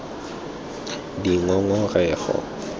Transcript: dingongorego